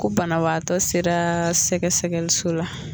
Ko banabaatɔ sera sɛgɛsɛgɛliso la